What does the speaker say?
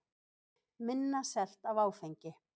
Minna selt af áfengi